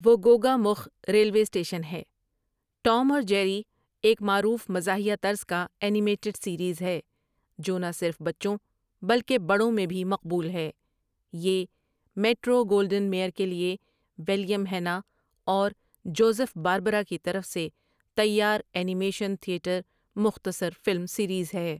وہ گوگا مخھ ریلوے اسٹیشن ہے ٹوم اور جیری ایک معروف مزاحیہ طرز کا انیمیٹڈ سیریز ہے جو نہ صرف بچوں بلکہ بڑوں میں بھی مقبول ہے یہ امیٹرو گولڈوان میئر کے لیے ولیم ہیننا اور جوزف باربرا کی طرف سے تیار انیمیشن تھیٹر مختصر فلم سیریز ہے ۔